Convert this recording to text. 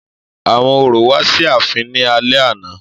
Àwọn orò wá sí ààfin ní alẹ́ àná